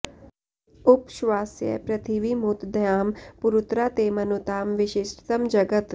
उप श्वासय पृथिवीमुत द्यां पुरुत्रा ते मनुतां विष्ठितं जगत्